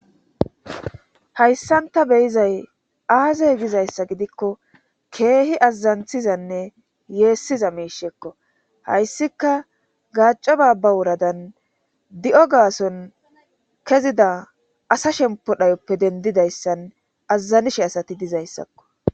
hayssanta beyizay aazey gizayssa gidikko keehi azazanthizanne yeessiza meishekko hayssika gaacco baabba wuradan di7o gaason kezida asa shempo dhayoppe dendidayssan azazanishe asati dizayssakko